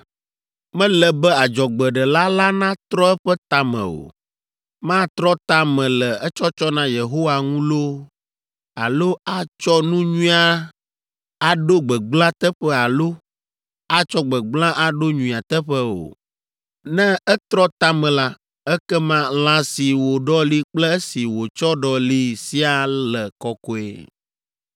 Mele be adzɔgbeɖela la natrɔ eƒe ta me o; matrɔ ta me le etsɔtsɔ na Yehowa ŋu loo alo atsɔ nu nyui aɖo gbegblẽa teƒe alo atsɔ gbegblẽa aɖo nyuia teƒe o. Ne etrɔ ta me la, ekema lã si wòɖɔli kple esi wòtsɔ ɖɔlii siaa le kɔkɔe.